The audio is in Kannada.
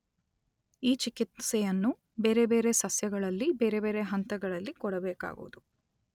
ಈ ಚಿಕಿತ್ಸೆಯನ್ನು ಬೇರೆ ಬೇರೆ ಸಸ್ಯಗಳಲ್ಲಿ ಬೇರೆ ಬೇರೆ ಹಂತಗಳಲ್ಲಿ ಕೊಡಬೇಕಾಗುವುದು.